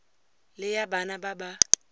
le ya bana ba ba